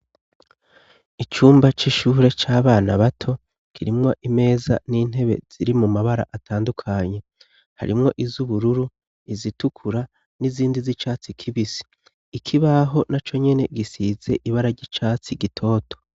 Icumba c'ishure c'abana bato kirimwa imeza n'intebe ziri mu mabara atandukanye harimwo izo ubururu izitukura n'izindi z'icatsi kibise ikibaho na co nyene gisize ibara ry'icatsi gitoto.